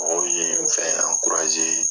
Mɔgɔw ye n fɛ